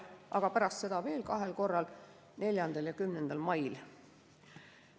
a, pärast seda veel kahel korral: 4. ja 10. mail.